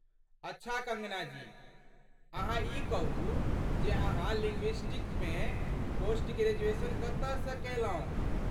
अच्छा कङ्गना जी, अहाँ ई कहू जे अहाँ लिंग्विस्टक्समे पोस्ट ग्रेजुएशन कतयसँ केलहुँ?